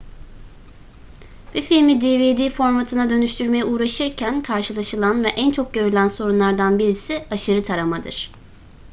bir filmi dvd formatına dönüştürmeye uğraşırken karşılaşılan ve en çok görülen sorunlardan birisi aşırı taramadır